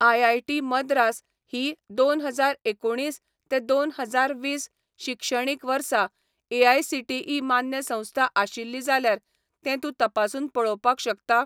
IIT Madras ही दोन हजार एकुणीस ते दोन हजार वीस शिक्षणीक वर्सा एआयसीटीई मान्य संस्था आशिल्ली जाल्यार तें तूं तपासून पळोवपाक शकता?